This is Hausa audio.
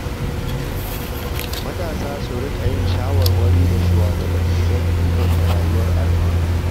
Matasa su riƙa yin shawarwari da shugabanni don inganta rayuwar al’umma.